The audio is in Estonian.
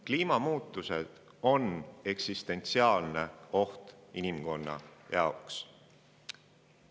Kliimamuutused on eksistentsiaalne oht inimkonna jaoks.